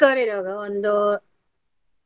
ಚಿಕ್ಕವರು ಇರ್ವಾಗ ಒಂದು .